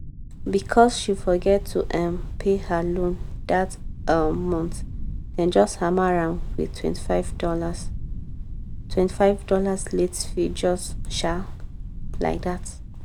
because she forget to um pay her loan that um month dem just hammer am withtwenty five dollars twenty five dollarslate fee just um like that.